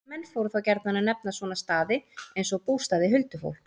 En menn fóru þá gjarnan að nefna svona staði, eins og bústaði huldufólks.